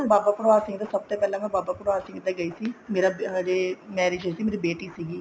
ਬਾਬਾ ਬਡਭਾਗ ਸਿੰਘ ਪਹਿਲਾਂ ਮੈਂ ਬਾਬਾ ਬਡਭਾਗ ਸਿੰਘ ਦੇ ਗਈ ਸੀ ਮੇਰੀ ਹਜੇ marriage ਹੋਈ ਸੀਗੀ ਮੇਰੀ ਬੇਟੀ ਸੀਗੀ